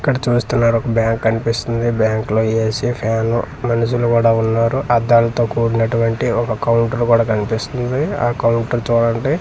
ఇక్కడ చూస్తున్నారు ఒక బ్యాంక్ కనిపిస్తుంది బ్యాంక్ లో ఏ_సి ఫ్యాన్ మనుషులు కూడా ఉన్నారు అద్దాలతో కుడినటు వంటి ఒక కౌంటర్ కూడా కనిపిస్తుంది ఆ కౌంటర్ చూడండి ఆన్--